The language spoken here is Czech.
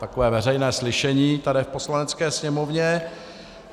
Takové veřejné slyšení tady v Poslanecké sněmovně.